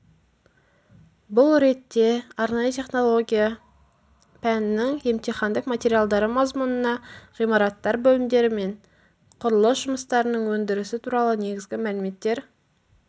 бұл ретте арнайы технология пәнінің емтихандық материалдары мазмұнына ғимараттар бөлімдері мен құрылыс жұмыстарының өндірісі туралы негізгі мәліметтер